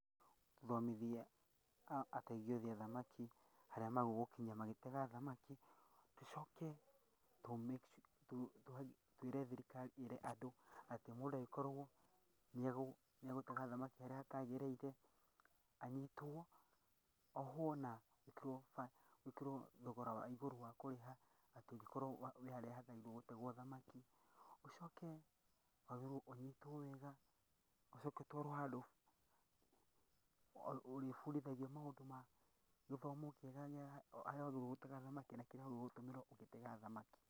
Tũthomithie ategi othe a thamaki harĩa magĩrĩirwo gũkinya magĩtega thamaki, tũcoke twĩre thirikari ĩre andũ atĩ mũndũ angĩkorwo nĩ egũtega thamaki harĩa hatagĩrĩire, anyitwo, ohwo na gwĩkĩrwo thogora wa igũrũ wa kũrĩha atĩ ũngĩkorwo wĩ harĩa hatagĩrĩire gũtegwo thamaki, ũcoke wagĩrĩrwo ũnyitwo wega ũcoke ũtwarwo handũ ũrĩbundithagio maũndũ ma gĩthomo kĩega gĩa harĩa wagĩrĩirwo gũtega thamaki na kĩrĩa wagĩrĩirwo gũtũmĩra ũgĩtega thamaki.